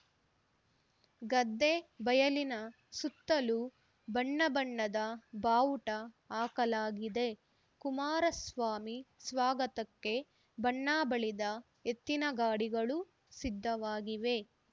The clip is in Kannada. ಗದ್ದೆ ಬಯಲಿನ ಸುತ್ತಲೂ ಬಣ್ಣ ಬಣ್ಣದ ಬಾವುಟ ಹಾಕಲಾಗಿದೆ ಕುಮಾರಸ್ವಾಮಿ ಸ್ವಾಗತಕ್ಕೆ ಬಣ್ಣ ಬಳಿದ ಎತ್ತಿನಗಾಡಿಗಳು ಸಿದ್ಧವಾಗಿವೆ